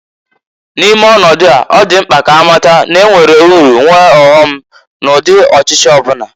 N'ime ọnọdụa, ọ dị mkpa k'amata n'enwere uru nwee ọghọ m n'ụdị ọchịchị ọbụna.